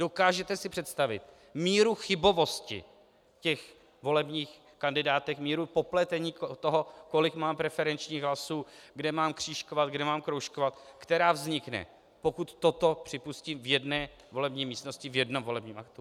Dokážete si představit míru chybovosti těch volebních kandidátek, míru popletení toho, kolik mám preferenčních hlasů, kde mám křížkovat, kde mám kroužkovat, která vznikne, pokud toto připustím v jedné volební místnosti v jednom volebním aktu?